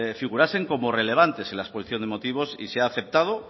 figurasen como relevantes en la exposición de motivos y se ha aceptado